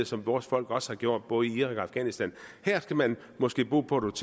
som vores folk også har gjort både i irak og afghanistan her skal man måske bo på et